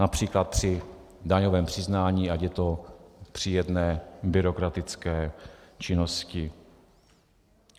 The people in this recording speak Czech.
Například při daňovém přiznání, ať je to při jedné byrokratické činnosti.